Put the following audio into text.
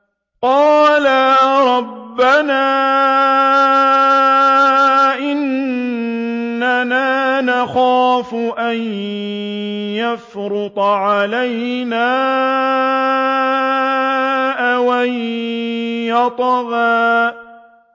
قَالَا رَبَّنَا إِنَّنَا نَخَافُ أَن يَفْرُطَ عَلَيْنَا أَوْ أَن يَطْغَىٰ